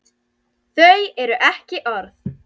Þau eru ekki orð.